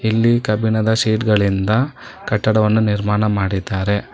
ಇಲ್ಲಿ ಕಬ್ಬಿಣದ ಸೀಟ್ ಗಳಿಂದ ಕಟ್ಟಡವನ್ನು ನಿರ್ಮಾಣ ಮಾಡಿದ್ದಾರೆ.